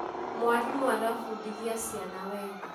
Mwalimũ arafundithia ciana wega